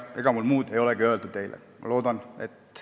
Ega mul muud ei olegi teile öelda.